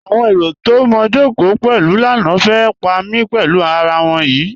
Awọn èrò tó mó jọ́kò pẹ̀lú lánà fẹ́ pa mí pẹ̀lú àrà wọn yí.